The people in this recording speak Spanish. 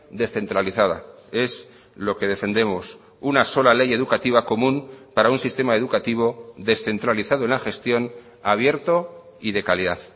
descentralizada es lo que defendemos una sola ley educativa común para un sistema educativo descentralizado en la gestión abierto y de calidad